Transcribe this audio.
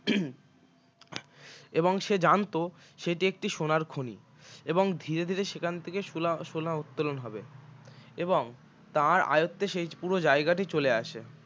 এবং সে জানত সেটি একটি সোনার খনি এবং ধীরে ধীরে সেখান থেকে সোনা সোনা উত্তোলন হবে এবং তার আয়ত্তে সেই পুরো জায়গাটি চলে আসে